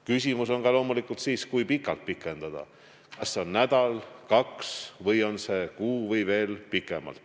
Küsimus on loomulikult siis ka see, kui pikalt seda aega pikendada – kas see on nädal, kaks nädalat, kuu või veel kauem.